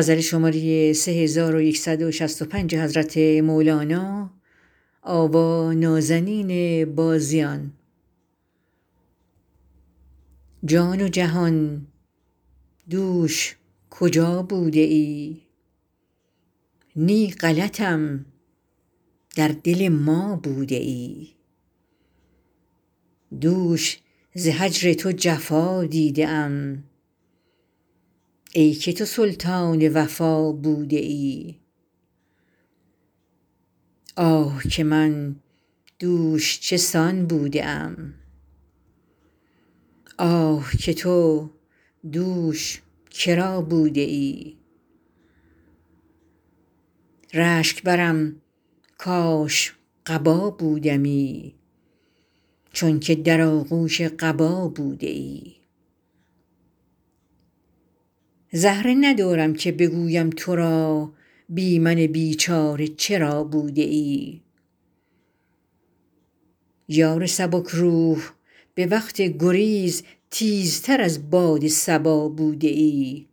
جان و جهان دوش کجا بوده ای نی غلطم در دل ما بوده ای دوش ز هجر تو جفا دیده ام ای که تو سلطان وفا بوده ای آه که من دوش چه سان بوده ام آه که تو دوش کرا بوده ای رشک برم کاش قبا بودمی چونک در آغوش قبا بوده ای زهره ندارم که بگویم ترا بی من بیچاره چرا بوده ای یار سبک روح به وقت گریز تیزتر از باد صبا بوده ای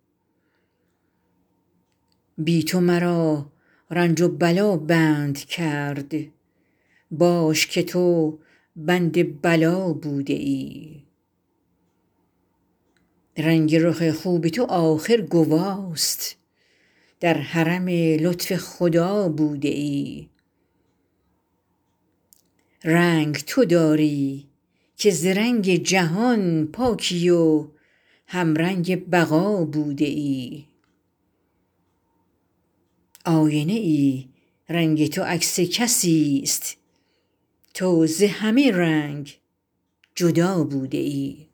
بی تو مرا رنج و بلا بند کرد باش که تو بند بلا بوده ای رنگ رخ خوب تو آخر گواست در حرم لطف خدا بوده ای رنگ تو داری که ز رنگ جهان پاکی و همرنگ بقا بوده ای آینه ای رنگ تو عکس کسیست تو ز همه رنگ جدا بوده ای